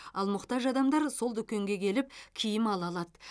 ал мұқтаж адамдар сол дүкенге келіп киім ала алады